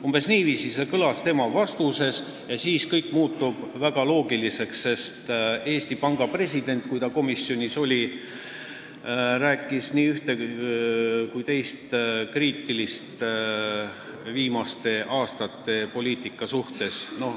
Umbes niiviisi kõlas see ka Laari vastuses ja kõik muutub väga loogiliseks, sest Eesti Panga president, kui ta komisjonis oli, rääkis nii ühte kui teist kriitilist viimaste aastate poliitika kohta.